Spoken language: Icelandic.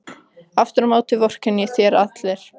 Aftur á móti vorkenna þér allir.